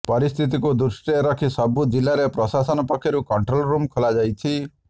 ପରିସ୍ଥିତିକୁ ଦୃଷ୍ଟିରେ ରଖି ସବୁ ଜିଲ୍ଲାରେ ପ୍ରଶାସନ ପକ୍ଷରୁ କଣ୍ଟ୍ରୋଲ୍ ରୁମ୍ ଖୋଲାଯାଇଛି